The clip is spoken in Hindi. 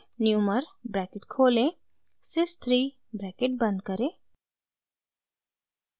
numer ब्रैकेट खोलें sys 3 ब्रैकेट बंद करें